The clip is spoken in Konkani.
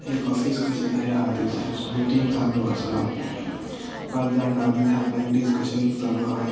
एक ऑफीस कशे किदे आहा थंयसर सो मिटिंग चालू आसा पाचजाण दादले आहा कसले डिस्कशन चालू आहा.